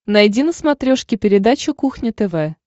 найди на смотрешке передачу кухня тв